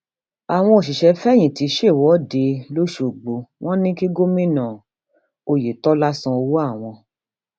àwọn òṣìṣẹfẹyìntì ṣèwọde lọpọṣọgbó wọn ní kí gómìnà oyetola san owó àwọn